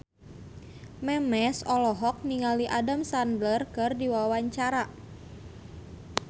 Memes olohok ningali Adam Sandler keur diwawancara